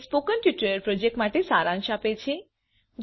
તે spoken tutorial project માટે સારાંશ આપે છે